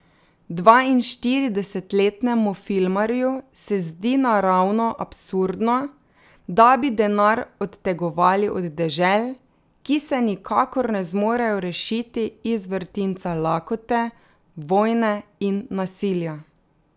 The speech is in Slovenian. Dvainštiridesetletnemu filmarju se zdi naravno absurdno, da bi denar odtegovali od dežel, ki se nikakor ne zmorejo rešiti iz vrtinca lakote, vojne in nasilja.